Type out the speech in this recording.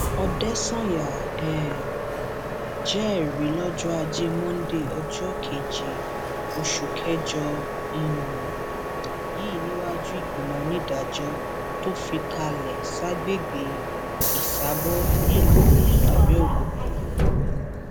òdèsányà um jẹrìí lọjọ ajé monde ọjọ keje oṣù kẹjọ um yìí níwájú ìgbìmọ onídàájọ tó fìkàlẹ ságbègbè ìsàbọ nílùú abẹọkútà